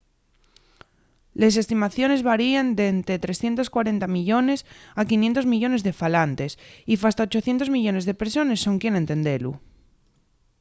les estimaciones varien d’ente 340 millones a 500 millones de falantes y fasta 800 millones de persones son quien a entendelu